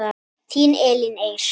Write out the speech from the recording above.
Þín Elín Eir.